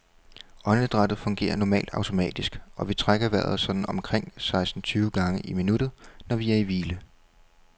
Åndedrættet fungerer normalt automatisk, og vi trækker vejret sådan omkring seksten tyve gange i minuttet, når vi er i hvile.